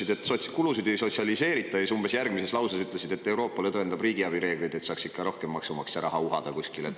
Sa ütlesid, et kulusid ei sotsialiseerita, aga umbes järgmises lauses ütlesid, et Euroopa lõdvendab riigiabi reegleid, et saaks ikka rohkem maksumaksja raha uhada kuskile.